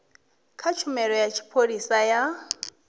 kha tshumelo ya tshipholisa ya